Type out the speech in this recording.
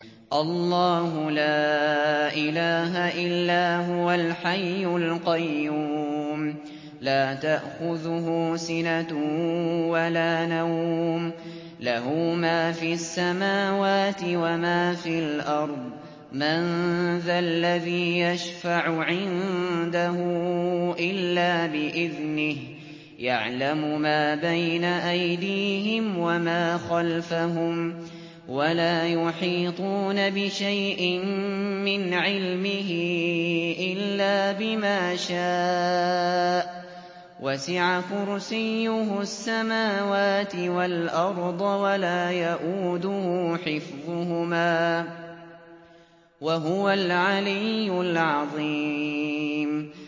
اللَّهُ لَا إِلَٰهَ إِلَّا هُوَ الْحَيُّ الْقَيُّومُ ۚ لَا تَأْخُذُهُ سِنَةٌ وَلَا نَوْمٌ ۚ لَّهُ مَا فِي السَّمَاوَاتِ وَمَا فِي الْأَرْضِ ۗ مَن ذَا الَّذِي يَشْفَعُ عِندَهُ إِلَّا بِإِذْنِهِ ۚ يَعْلَمُ مَا بَيْنَ أَيْدِيهِمْ وَمَا خَلْفَهُمْ ۖ وَلَا يُحِيطُونَ بِشَيْءٍ مِّنْ عِلْمِهِ إِلَّا بِمَا شَاءَ ۚ وَسِعَ كُرْسِيُّهُ السَّمَاوَاتِ وَالْأَرْضَ ۖ وَلَا يَئُودُهُ حِفْظُهُمَا ۚ وَهُوَ الْعَلِيُّ الْعَظِيمُ